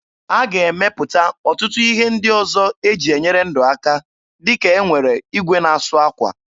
A ga-emepụta ọtụtụ ihe ndị ọzọ eji enyere ndụ aka dịka e nwere igwe na-asụ akwa.